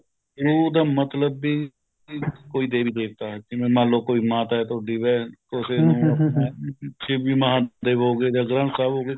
ਗੁਰੂ ਦਾ ਮਤਲਬ ਵੀ ਕੋਈ ਦੇਵੀ ਦੇਵਤਾ ਜਿਵੇਂ ਮੰਨਲੋ ਕੋਈ ਮਾਤਾ ਹੈ ਤੁਹਾਡੀ ਸ਼ਿਵ ਜੀ ਮਹਾਦੇਵ ਹੋ ਗਏ ਜਾ ਗ੍ਰੰਥ ਸਾਹਿਬ ਹੋਗੇ